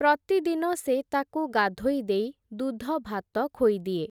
ପ୍ରତିଦିନ ସେ ତାକୁ ଗାଧୋଇ ଦେଇ ଦୁଧଭାତ ଖୋଇଦିଏ ।